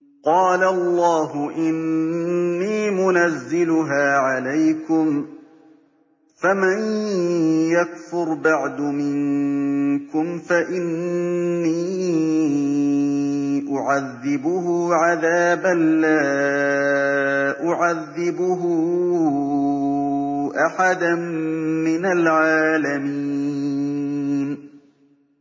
قَالَ اللَّهُ إِنِّي مُنَزِّلُهَا عَلَيْكُمْ ۖ فَمَن يَكْفُرْ بَعْدُ مِنكُمْ فَإِنِّي أُعَذِّبُهُ عَذَابًا لَّا أُعَذِّبُهُ أَحَدًا مِّنَ الْعَالَمِينَ